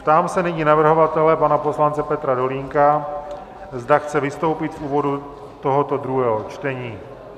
Ptám se nyní navrhovatele pana poslance Petra Dolínka, zda chce vystoupit v úvodu tohoto druhého čtení.